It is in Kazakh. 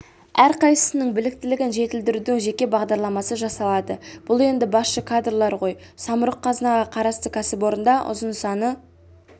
әрқайсысының біліктілігін жетілдірудің жеке бағдарламасы жасалады бұл енді басшы кадрлар ғой самұрық-қазынаға қарасты кәсіпорындарда ұзын саны